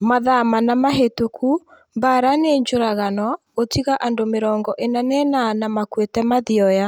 Mathaa mana mahĩtũku Mbaara nĩ njũragano gũtiga andũ mĩrongo ina na inana makuĩte Mathioya